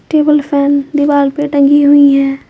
केवल फैन दीवार पर टंगी हुई है।